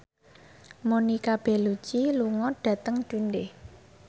Monica Belluci lunga dhateng Dundee